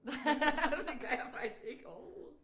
Nej det gør jeg faktisk ikke overhoved